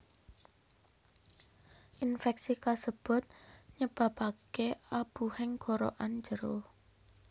Infeksi kasebut nyebabake abuhing gorokan njero